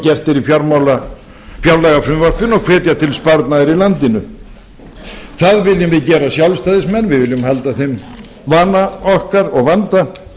gert er í fjárlagafrumvarpinu og hvetja til sparnaðar í landinu það viljum við gera sjálfstæðismenn við viljum halda þeim vana okkar og vanda að